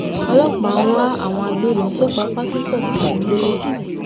ọlọpàá ń wá àwọn agbébọn tó pa pásítọ sínú igbó lẹkìtì